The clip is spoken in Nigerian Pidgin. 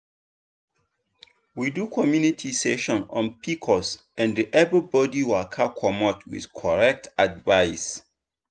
we do community session on pcos and everybody waka commot with correct advice.